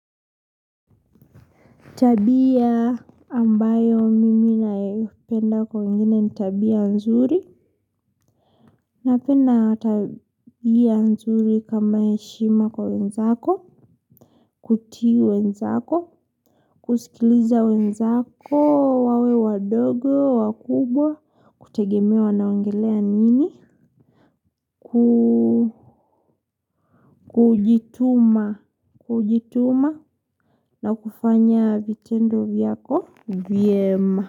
Tabia ambayo mimi naipenda kwa wengine ni tabia nzuri. Napena tabia nzuri kama yaeshima kwa wenzako. Kutii wenzako. Kusikiliza wenzako, wawe wadogo, wakubwa. Kutegemea wanaongelea nini. Kujituma. Kujituma. Na kufanya vitendo vyako. Vyema.